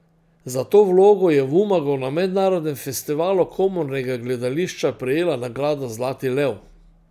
Za to vlogo je v Umagu na Mednarodnem festivalu komornega gledališča prejela nagrado zlati lev.